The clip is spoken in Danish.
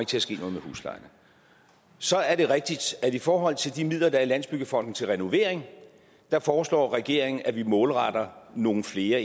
til at ske noget med huslejen så er det rigtigt at i forhold til de midler der er i landsbyggefonden til renovering foreslår regeringen at vi målretter nogle flere